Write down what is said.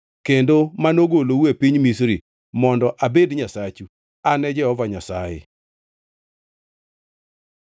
kendo manogolou e piny Misri mondo abed Nyasachu. An e Jehova Nyasaye.”